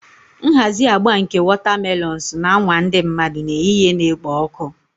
Nhazi agba nke wotamelons na-anwa ndị mmadụ n'ehihie na-ekpo ọkụ